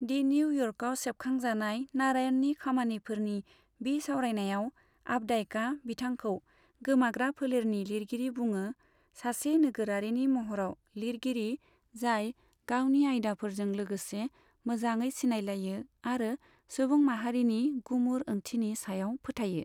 दि निउ इयर्कारआव सेबखांजानाय नारायणनि खामानिफोरनि बिसावरायनायाव, आपडाइकआ बिथांखौ गोमाग्रा फोलेरनि लिरगिरि बुङो सासे नोगोरारिनि महराव लिरगिरि जाय गावनि आयदाफोरजों लोगोसे मोजाङै सिनायलायो आरो सुबुं माहारिनि गुमुर ओंथिनि सायाव फोथायो।